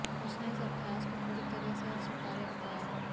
उसने इस अभ्यास को पूरी तरह से अस्वीकार्य बताया